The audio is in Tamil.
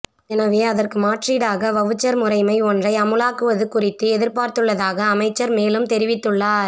எனவே அதற்கு மாற்றீடாக வவுச்சர் முறைமை ஒன்றை அமுலாக்குவது குறித்து எதிர்பார்த்துள்ளதாக அமைச்சர் மேலும் தெரிவித்துள்ளார்